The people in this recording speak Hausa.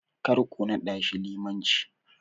Karku naɗashi limanci.